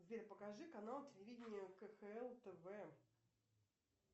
сбер покажи канал телевидения кхл тв